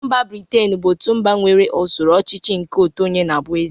Mba Britain bụ otu mba nke nwere usoro ọchịchị nke otu onye na-abụ Eze.